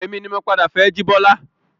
Èmi ni mo padà fẹ́ jibola